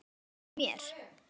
Leyfðu mér!